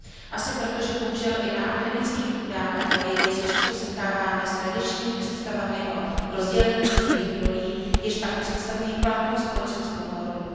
Asi proto, že bohužel i na akademických půdách a ve vědě se často setkáváme s tradičními představami o rozdělení genderových rolí, jež pak představují platnou společenskou normu.